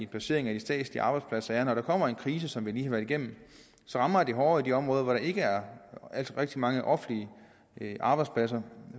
placeringen af de statslige arbejdspladser at når der kommer en krise som den vi lige har været igennem så rammer den hårdere i de områder hvor der ikke er rigtig mange offentlige arbejdspladser